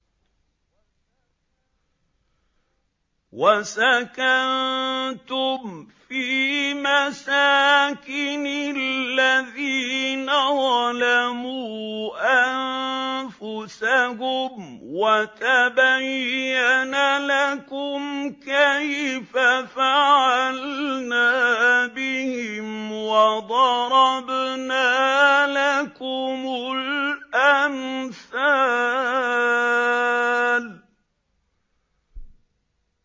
وَسَكَنتُمْ فِي مَسَاكِنِ الَّذِينَ ظَلَمُوا أَنفُسَهُمْ وَتَبَيَّنَ لَكُمْ كَيْفَ فَعَلْنَا بِهِمْ وَضَرَبْنَا لَكُمُ الْأَمْثَالَ